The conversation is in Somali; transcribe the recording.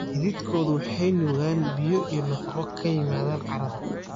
Xididkoodu waxay nuugaan biyo iyo nafaqo ka yimaada carrada.